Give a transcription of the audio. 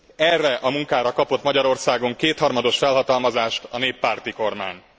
Erre a munkára kapott Magyarországon kétharmados felhatalmazást a néppárti kormány.